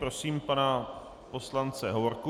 Prosím pana poslance Hovorku.